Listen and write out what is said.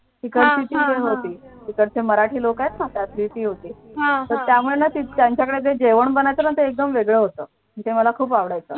तीकडची ती होती तिकडचे मराठी लोक आहेत ना त्यातली ती होती त्यामुळे ना त्यांच्याकडे जेवण बनायचं ना ते एकदम वेगळं होतं ते मला खूप आवडायचं